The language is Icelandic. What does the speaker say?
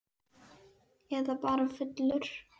Eða bara fullur.